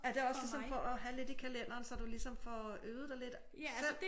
Er det også ligesom for at have lidt i kalenderen så du ligesom får øvet dig lidt selv